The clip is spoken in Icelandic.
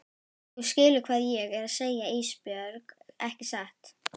Þú skilur hvað ég er að segja Ísbjörg ekki satt?